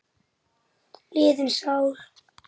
liðin sál.